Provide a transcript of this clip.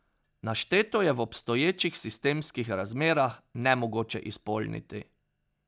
Našteto je v obstoječih sistemskih razmerah nemogoče izpolniti.